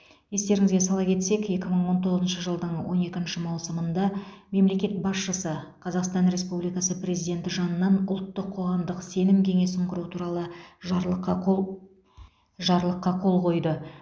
естеріңізге сала кетсек екі мың он тоғызыншы жылдың он екінші маусымында мемлекет басшысы қазақстан республикасы президенті жанынан ұлттық қоғамдық сенім кеңесін құру туралы жарлыққа қол жарлыққа қол қойды